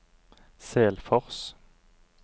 Selfors